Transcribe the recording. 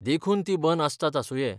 देखुन तीं बंद असतात आसुंये !